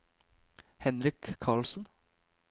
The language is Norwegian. Henrik Carlsen